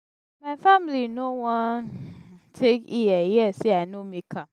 my family no wan take ear hear sey i no make am.